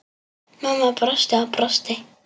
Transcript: Mamma brosti og brosti.